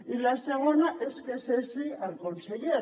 i la segona és que cessi el conseller